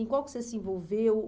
Em qual que você se envolveu?